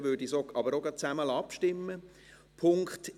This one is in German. Dann würde ich aber auch gleich gemeinsam darüber abstimmen lassen.